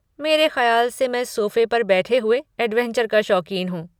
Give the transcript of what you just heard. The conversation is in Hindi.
मेरे खयाल से मैं सोफे पर बैठे हुए ऐड्वेंचर का शौकीन हूँ!